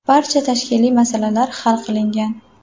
Barcha tashkiliy masalalar hal qilingan.